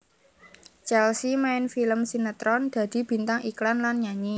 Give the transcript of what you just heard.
Chelsea main film sinetron dadi bintang iklan lan nyanyi